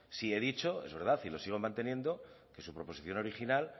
sí he dicho es verdad y lo sigo manteniendo que su proposición original